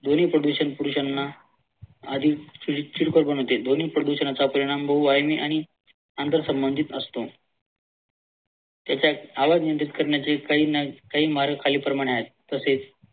ध्वनी प्रदूषण पुरुषांना अधिक चिडखोर बनवते. ध्वनी प्रदूषणाचा परिणाम बहुवाहिनी आणि अंतरसंबंधित असतो त्याच्यात आवाज करण्याचे काही मार्ग खालील प्रमाणे